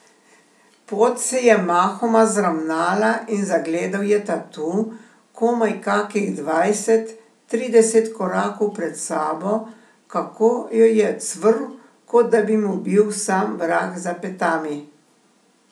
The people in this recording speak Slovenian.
Pot se je mahoma zravnala in zagledal je tatu, komaj kakih dvajset, trideset korakov pred sabo, kako jo je cvrl, kot da bi mu bil sam vrag za petami.